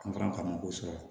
An fana ka mɔgɔw sɔrɔ